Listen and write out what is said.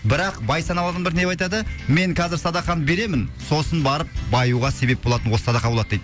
бірақ бай саналы адамдар не деп айтады мен қазір садақаны беремін сосын барып баюға себеп болатын осы садақа болады дейді